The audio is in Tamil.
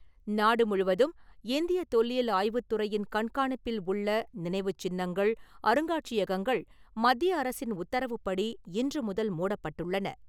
நாடுமுழுவதும் இந்திய தொல்லியல் ஆய்வுத்துறையின் கண்காணிப்பில் உள்ள நினைவுச்சின்னங்கள், அருங்காட்சியகங்கள் மத்திய அரசின் உத்தரவுப்படி, இன்று முதல் மூடப்பட்டுள்ளன.